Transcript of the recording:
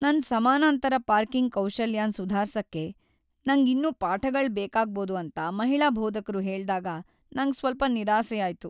ನನ್ ಸಮಾನಾಂತರ ಪಾರ್ಕಿಂಗ್ ಕೌಶಲ್ಯನ್ ಸುಧಾರ್ಸಕೆ ನಂಗ್ ಇನ್ನೂ ಪಾಠಗಳ್ ಬೇಕಾಗ್ಬೋದು ಅಂತ ಮಹಿಳಾ ಬೋಧಕ್ರು ಹೇಳ್ದಾಗ ನಂಗ್ ಸ್ವಲ್ಪ ನಿರಾಸೆ ಆಯ್ತು.